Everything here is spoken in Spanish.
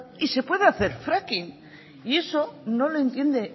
y se puede hacer fracking y eso no lo entiende el